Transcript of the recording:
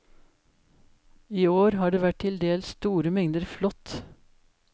I år har det vært til dels store mengder flått.